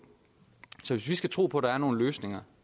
så hvis vi skal tro på at der er nogle løsninger